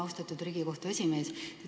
Austatud Riigikohtu esimees!